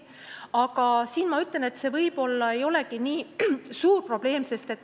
Aga see võib-olla ei olegi nii suur probleem.